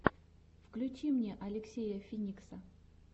включи мне алексея финикса